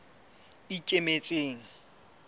ikemetseng